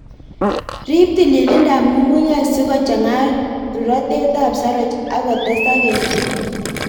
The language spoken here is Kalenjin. Rip tililindab ng'ung'unyek sikochang'a rurotetab saroch ak kotesak kelchin.